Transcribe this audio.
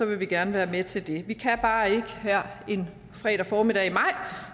vi gerne være med til det vi kan bare ikke her en fredag formiddag i maj